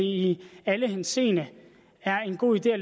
i alle henseender er en god idé at